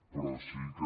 però sí que